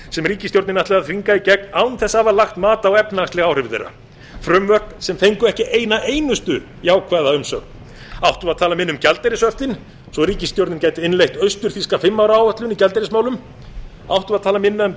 sem ríkisstjórnin ætlaði að þvinga í gegn án þess að hafa lagt mat á efnahagsleg áhrif þeirra frumvörp sem fengu ekki eina einustu jákvæða umsögn áttum við að tala minna um gjaldeyrishöftin svo að ríkisstjórnin gæti innleitt austurþýska fimm ára áætlun i gjaldeyrismálum áttum við að tala minna um